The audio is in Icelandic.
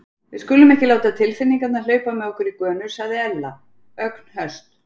Við skulum ekki láta tilfinningarnar hlaupa með okkur í gönur sagði Ella, ögn höst.